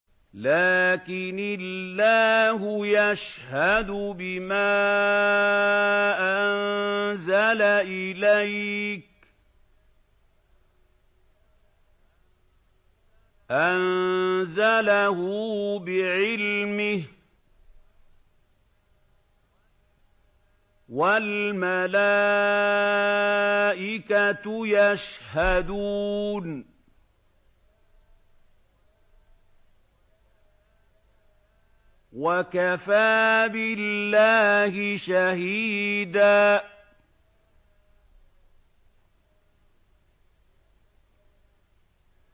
لَّٰكِنِ اللَّهُ يَشْهَدُ بِمَا أَنزَلَ إِلَيْكَ ۖ أَنزَلَهُ بِعِلْمِهِ ۖ وَالْمَلَائِكَةُ يَشْهَدُونَ ۚ وَكَفَىٰ بِاللَّهِ شَهِيدًا